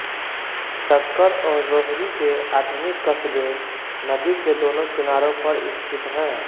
सक्कर और रोहरी के आधुनिक कस्बे नदी के दोनों किनारों पर स्थित हैं